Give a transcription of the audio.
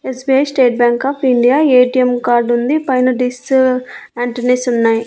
SBI state bank of India ATM card ఉంది. పైన డిస్సు యాంటోనీస్ ఉన్నాయి.